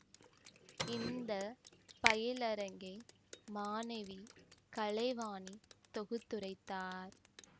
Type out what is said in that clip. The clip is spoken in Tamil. இந்த பயிலரங்கை மாணவி கலைவாணி தொகுத்துரைத்தார்